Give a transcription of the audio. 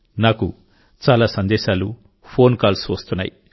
నాకు చాలా సందేశాలు ఫోన్ కాల్స్ వస్తున్నాయి